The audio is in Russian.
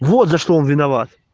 вот за что он виноват